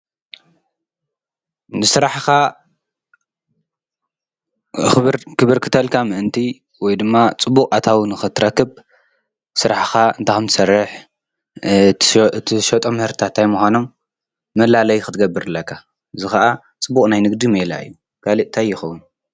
ንስራሕኻ ክብርክተልካ ምእንቲ ወይ ድማ ፅቡቕ ኣታው ንኽትረክብ ስራሕኻ እንታይ ከምትሠርሕ እቶም ምህርታት ታይ ምዃኖም መላለይ ኽትገብር ኣለካ፡፡ እዚ ኸዓ ጽቡቕ ናይ ንግዲ ምእላይ እዩ ካልእ ታይ ይኸዉን?